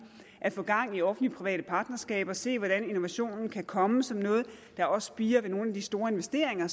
at få gang i offentlig private partnerskaber og se hvordan innovationen kan komme som noget der også spirer i nogle af de store investeringer